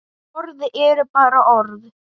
Orð eru bara orð.